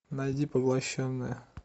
найди поглощенная